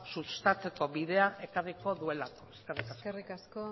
sustatzeko bidea ekarriko duelako eskerrik asko eskerrik asko